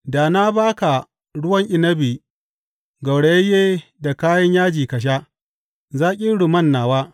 Da na ba ka ruwan inabi gaurayayye da kayan yaji ka sha, zaƙin rumman nawa.